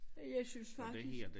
Jeg synes faktisk